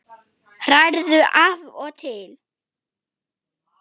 Hrærðu af og til.